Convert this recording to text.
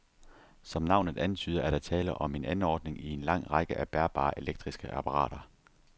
Som navnet antyder, er der tale om en anordning i en lang række af bærbare elektriske apparater.